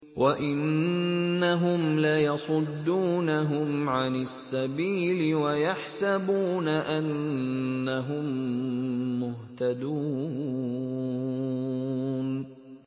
وَإِنَّهُمْ لَيَصُدُّونَهُمْ عَنِ السَّبِيلِ وَيَحْسَبُونَ أَنَّهُم مُّهْتَدُونَ